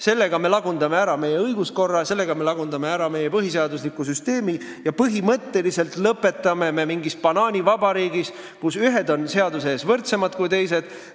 Niimoodi me lagundame ära meie õiguskorra, lagundame ära meie põhiseadusliku süsteemi ja sisuliselt lõpetame mingis banaanivabariigis, kus ühed on seaduse ees võrdsemad kui teised.